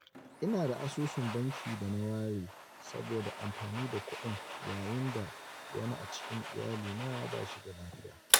Ina da asusun banki da na ware saboda amfani da kuɗin yayin da wani a cikin iyalina ba shi da lafiya.